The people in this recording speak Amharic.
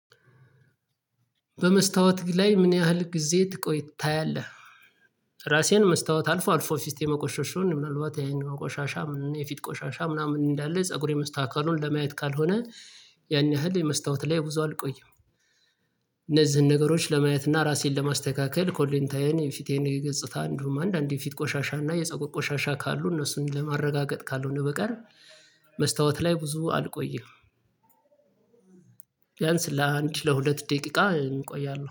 በመስታወት ላይ ምን ያህል ጊዜ ትቆይ ታያለህ? ራሴን መስታወት አልፎ አልፎ ፊቴ መቆሸሹን ምናልባት የአይን ቆሻሻ ምናምን የፊት ቆሻሻ ምናምን እንዳለ ፀጉሬ መስተካከሉን ለማየት ካልሆነ ያን ያህል የመስታወት ላይ ብዙ አልቆይም። እነዚህን ነገሮች ለማየት እና ራሴን ለማስተካከል ኮሌታዬን ፊቴን የገጽታ አንዲሁም አንድ አንድ የፊት ቆሻሻ እና የፀጉር ቆሻሻ ካሉ እነሱን ለማረጋገጥ ካልሆነ በቀር መስታወት ላይ ብዙ አልቆይም። ቢያንስ ለአንድ ለሁለት ደቂቃ እቆያለሁ።